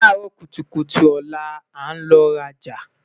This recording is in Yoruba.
laaro kutukutu ola, a n lọ raja